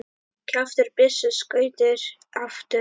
Kjaftur byssu skýtur aftur.